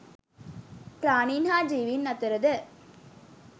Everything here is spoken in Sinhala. ප්‍රාණීන් හා ජීවීන් අතර ද